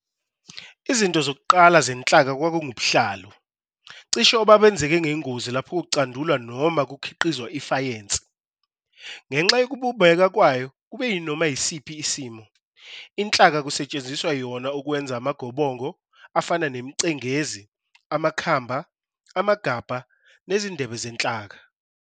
Izinto zokuqala zenhlaka kwakungubuhlalu, cishe obabenzeke ngengozi lapho kucandulwa noma kukhiqizwa i-fayensi. Ngenxa yokubumbeka kwayo kube yinoma yisiphi isimo, inhlaka kusetshenziswa yona ukwenza amagobongo, afana nemicengezi, amakhamba, amagabha, nezindebe zenhlaka.